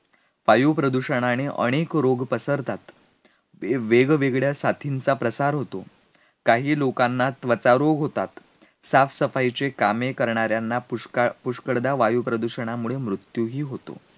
वायू प्रदूषनाणे अनेक रोग पसरतात, मी वेगवेगळ्या साथीचा प्रसार होतो, काही लोकांना त्वचा रोग होतात, साफ सफाईचे कामे करणार्यांना पुष्कळ, पुष्कळदा, वायू प्रदूषणामुळे मृत्यूही होतो